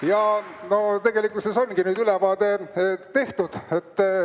Ja no tegelikult ongi nüüd ülevaade tehtud.